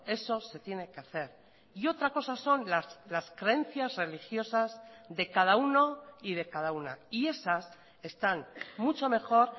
eso se tiene que hacer y otra cosa son las creencias religiosas de cada uno y de cada una y esas están mucho mejor